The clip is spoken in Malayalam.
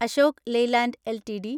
Ashok Leyland LTD